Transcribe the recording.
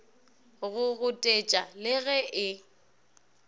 go gotetša le ge e